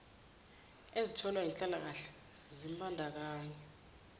ezitholwa yinhlalakahle zimbandakanya